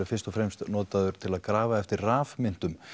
fyrst og fremst notaður til að grafa eftir rafmyntum